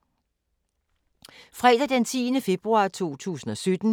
Fredag d. 10. februar 2017